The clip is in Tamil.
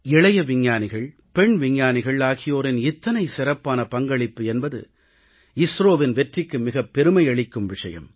இளைய விஞ்ஞானிகள் பெண் விஞ்ஞானிகள் ஆகியோரின் இத்தனை சிறப்பான பங்களிப்பு என்பது இஸ்ரோவின் வெற்றிக்கு மிகப் பெருமை அளிக்கும் விஷயம்